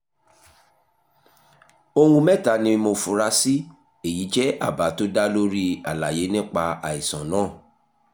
ohun mẹ́ta ni mo fura sí èyí jẹ́ àbá tó dá lórí àlàyé nípa àìsàn náà